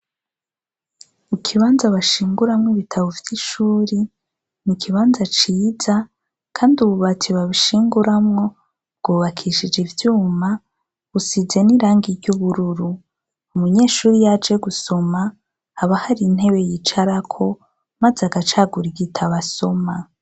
Ikibanza bashinguramw' ibitabo vy' ishure n' ikibanza ciza kand'ububati babishinguramwo bwubakishij' ivyuma busize n' irangi ry' ubururu , umunyeshur' iyaje gusoma haba har' intebe yicarako maz' agacagur' igitab' asoma.